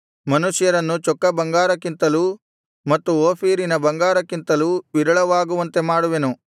ಮನುಷ್ಯರನ್ನು ಚೊಕ್ಕ ಬಂಗಾರಕ್ಕಿಂತಲೂ ಮತ್ತು ಓಫೀರಿನ ಬಂಗಾರಕ್ಕಿಂತಲೂ ವಿರಳವಾಗುವಂತೆ ಮಾಡುವೆನು